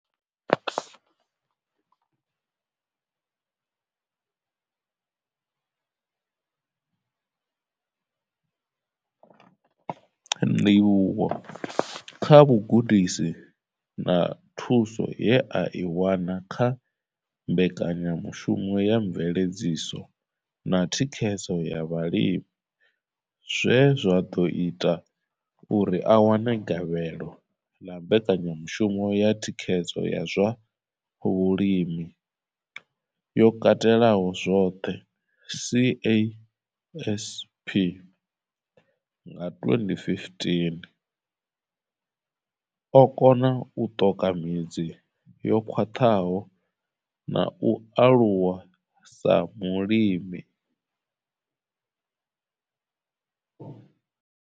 Ndivhuwo kha vhugudisi na thuso ye a i wana kha mbekanyamushumo ya mveledziso na thikhedzo ya vhalimi zwe zwa ḓo ita uri a wane gavhelo ḽa mbekanyamushumo ya thikhedzo ya zwa vhulimi yo katelaho zwoṱhe CASP nga 2015, o kona u ṱoka midzi yo khwaṱhaho na u aluwa sa mulimi.